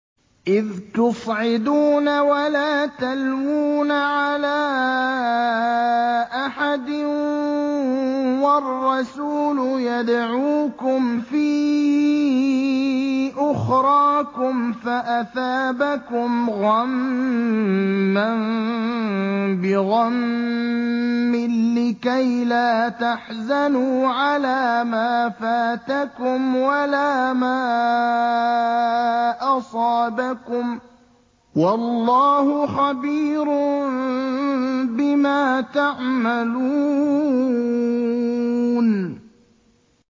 ۞ إِذْ تُصْعِدُونَ وَلَا تَلْوُونَ عَلَىٰ أَحَدٍ وَالرَّسُولُ يَدْعُوكُمْ فِي أُخْرَاكُمْ فَأَثَابَكُمْ غَمًّا بِغَمٍّ لِّكَيْلَا تَحْزَنُوا عَلَىٰ مَا فَاتَكُمْ وَلَا مَا أَصَابَكُمْ ۗ وَاللَّهُ خَبِيرٌ بِمَا تَعْمَلُونَ